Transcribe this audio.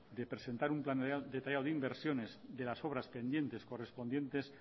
de presentar un plan detallado de inversiones de las obras pendientes correspondientes